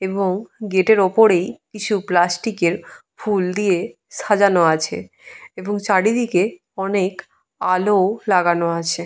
এবং গেটের ওপরেই কিছু প্লাস্টিকের ফুল দিয়ে সাজানো আছে। এবং চারিদিকে অনেক আলো লাগানো আছে।